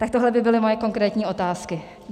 Tak tohle by byly moje konkrétní otázky.